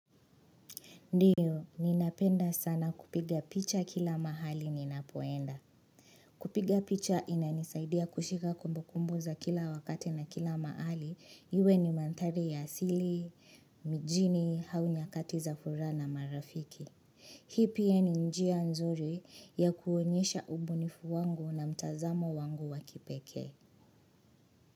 Ndiyo, ninapenda sana kupiga picha kila mahali ninapoenda. Kupiga picha inanisaidia kushika kumbu kumbu za kila wakati na kila mahali. Iwe ni mandhari ya asili, mijini, au nyakati za furaha na marafiki. Hii pia ni njia nzuri ya kuonyesha umbunifu wangu na mtazamo wangu wakipekee.